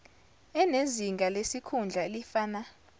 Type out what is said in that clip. enezinga lesikhundla elifana